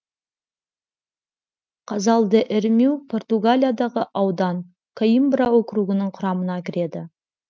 казал де эрмиу португалиядағы аудан коимбра округінің құрамына кіреді